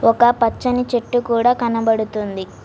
ఒక్క పచ్చని చెట్టు కూడా కనబడుతుంది.